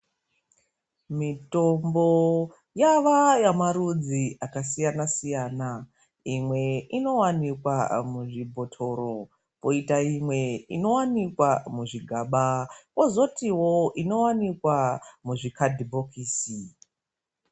Mitombo yava yemarudzi akasiyana siyana, imwe inowanikwa muzvibhotoro koita imwe inowanikwa muzvigaba, kozotiwo inowanikwa muzvikandibhokisi